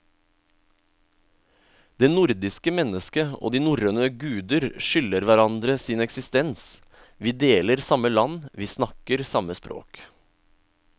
Det nordiske mennesket og de norrøne guder skylder hverandre sin eksistens, vi deler samme land, vi snakker samme språk.